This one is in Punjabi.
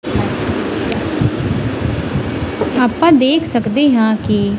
ਅੱਪਾਂ ਦੇਖ ਸਕਦਿਆਂ ਹਾਂ ਕੀ--